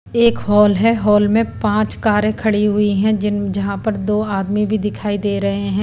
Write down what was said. एक हॉल है हॉल में पांच कारें खड़ी हुई हैं जिन जहां पर दो आदमी भी दिखाई दे रहे हैं।